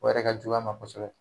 O yɛrɛ ka jugu a ma kosɛbɛ.